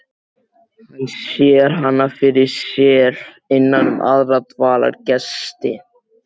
Hann sér hana fyrir sér innan um aðra dvalargesti í